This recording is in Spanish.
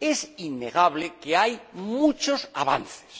es innegable que hay muchos avances.